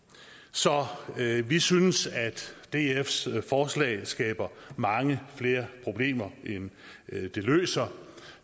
så vi synes at dfs forslag skaber mange flere problemer end det løser